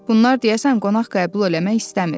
Bunlar deyəsən qonaq qəbul eləmək istəmir.